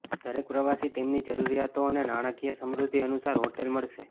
દરેક પ્રવાસી તેમની જરૂરિયાતો અને નાણાકીય સમૃદ્ધિ અનુસાર હોટેલ મળશે